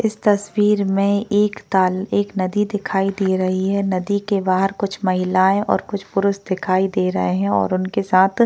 इस तस्वीर में एक ताल एक नदी दिखाई दे रही है नदी के बाहर कुछ महिलाए और कुछ पुरुष दिखाई दे रहे है और उनके साथ --